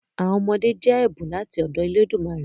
Àwọn ọmọdé jẹ́ ẹ̀bùn láti ọ̀dọ elédùmarè.